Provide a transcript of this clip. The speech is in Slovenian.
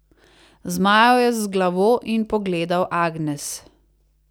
Zmajal je z glavo in pogledal Agnes.